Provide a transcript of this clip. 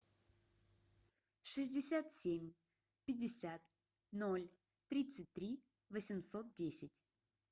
шестьдесят семь пятьдесят ноль тридцать три восемьсот десять